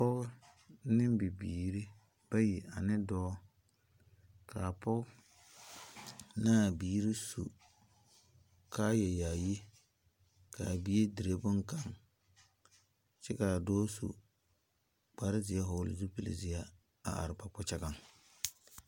Poɔ ne bibiiri bayi ane doɔ kaa poɔ na biiri su kaaya yaayi kaa bie dire bunkanga kye kaa doɔ su kpare zie vɔgli zupili zie a arẽ ba kpakyagan.